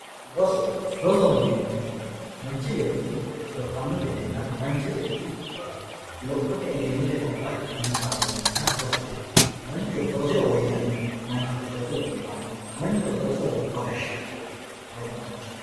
Rosu, rosoho yineemo woyite manchi beeti lophano gedenna manchi beetti lophote eggenotte gabatte xinitaho yinanniha rosoho yinanni manchu roso rosiro woyyanno manchu roso rosiro biifanno, manchu roso rosiro gobba gashano rosu danichaho